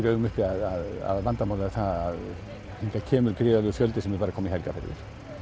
í augum uppi að aðalvandamálið er það kemur gríðarlegur fjöldi sem er bara að koma í helgarferðir